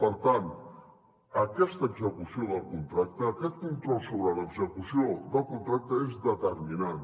per tant aquesta execució del contracte aquest control sobre l’execució del contracte és determinant